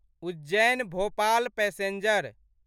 Ujjain Bhopal passenger